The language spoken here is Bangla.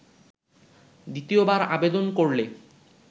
দ্বিতীয়বার আবেদন করলে